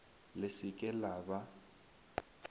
le se ke la ba